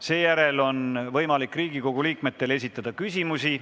Seejärel on võimalik Riigikogu liikmetel esitada küsimusi.